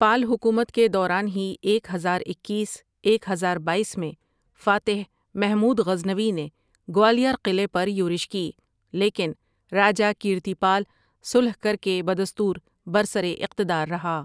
پال حکومت کے دوران ہی ایک ہزار اکیس ایک ہزار بایس میں فاتح محمود غزنوی نے گوالیار قلعے پر یورش کی، لیکن راجہ کیرتی پال صلح کر کے بدستور بر سر اقتدار رہا